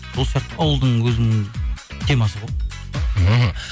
сол сияқты ауылдың өзінің темасы ғой мхм